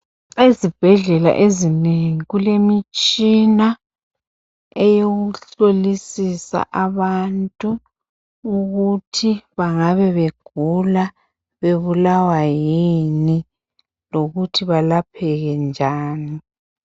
Ezibhedlela ezinengi kulemitshina eyokuhlolisisa abantu ukuthi bangabe begula bebulawa yini lokuthi balapheke njani